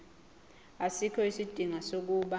asikho isidingo sokuba